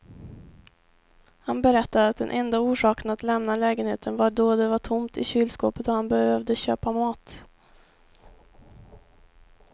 Han berättade att den enda orsaken att lämna lägenheten var då det var tomt i kylskåpet och han behövde köpa mat.